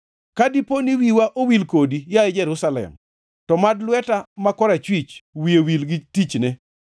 Ka dipo ni wiya owil kodi, yaye Jerusalem, to mad lweta ma korachwich wiye wil gi tichne.